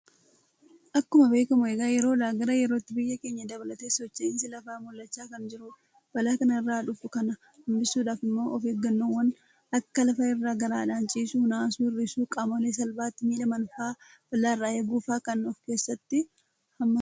Akkuma beekamu egaa yeroodhaa gara yerootti biyya keenya dabalatee socho'iinsi lafaa mul'achaa kan jiru dha. balaa kana irraan dhufu kana hanbisuudhaaf immoo ofeeggannoowwan akka lafa irra garaadhaan ciisuu, naasuu hir'isuu, qaamolee salphaatti miidhaman fa'a balaa irraa eeguufaa kan ofkeessatti hammatuu dha.